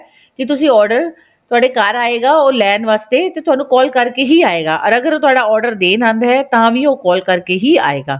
ਕੀ ਤੁਸੀਂ order ਤੁਹਾਡੇ ਘਰ ਆਏਗਾ ਉਹ ਲੈਣ ਵਸਤੇ ਤੇ ਤੁਹਾਨੂੰ call ਕਰਕੇ ਹੀ ਆਏਗਾ ਰ ਅਗਰ ਉਹ ਤੁਹਾਡਾ order ਦੇਣ ਆਉਂਦਾ ਹੈ ਤਾਂ ਵੀ ਉਹ call ਕਰਕੇ ਹੀ ਆਏਗਾ